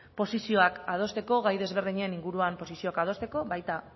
gai ezberdinen inguruan posizioak adosteko baita